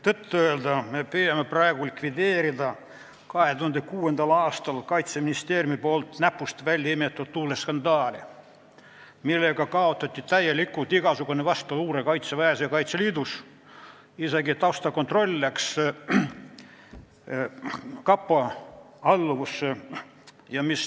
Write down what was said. Tõtt-öelda me püüame praegu likvideerida 2006. aastal Kaitseministeeriumi poolt näpust välja imetud luureskandaali, millega kaotati täielikult igasugune vastuluure Kaitseväes ja Kaitseliidus, isegi taustakontroll läks kapo alluvusse.